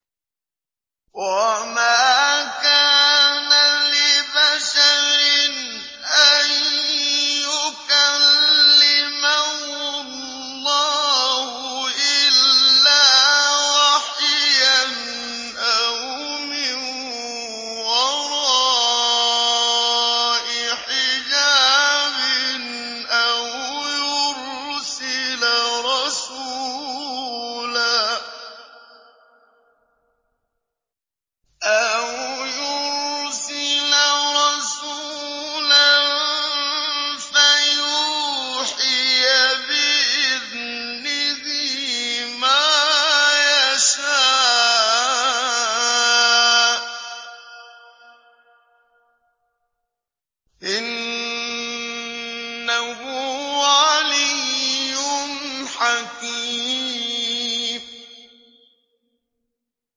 ۞ وَمَا كَانَ لِبَشَرٍ أَن يُكَلِّمَهُ اللَّهُ إِلَّا وَحْيًا أَوْ مِن وَرَاءِ حِجَابٍ أَوْ يُرْسِلَ رَسُولًا فَيُوحِيَ بِإِذْنِهِ مَا يَشَاءُ ۚ إِنَّهُ عَلِيٌّ حَكِيمٌ